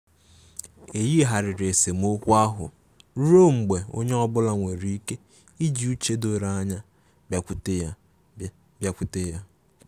E yigharịrị esemokwu ahụ ruọ mgbe onye ọbụla nwere ike iji uche doro anya bịakwute ya. bịakwute ya.